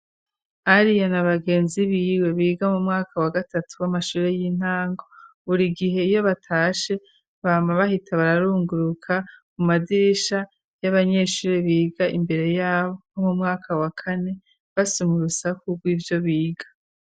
Alia na bagenzi biwe biga mu mwaka wa gatatu w'amashure y'intango buri gihe iyo batashe bampa bahita bararunguruka mu madirisha y'abanyeshuri biga imbere yabo mu mwaka wa kane basoma urusaku bw'ivyo biga.